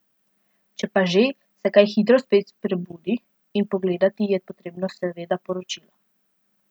Če pa že, se kaj hitro spet prebudi in pogledati je potrebno seveda Poročila.